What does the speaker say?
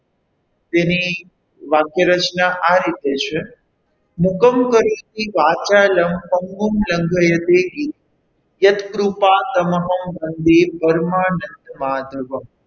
તેની વાક્યરચના આ રીતે છે, હુકમ કરીતી વાચાલમ યત કૃપા તમઃ વંદે પરમાનંદ માધવમ,